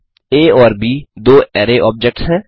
आ और ब दो अरै ऑब्जेक्ट्स हैं